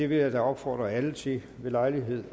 vil jeg da opfordre alle til ved lejlighed